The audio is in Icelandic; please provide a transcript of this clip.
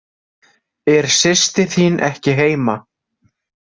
Er systir þín ekki heima?